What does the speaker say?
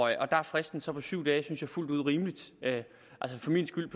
er fristen så syv dage fuldt ud rimeligt for min skyld